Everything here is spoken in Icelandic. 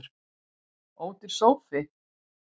Ódýr sófi